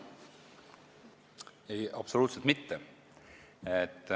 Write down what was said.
Ei, absoluutselt mitte.